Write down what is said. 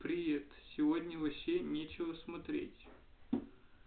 привет сегодня вообще нечего смотреть